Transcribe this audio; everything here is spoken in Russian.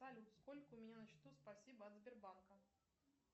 салют сколько у меня на счету спасибо от сбербанка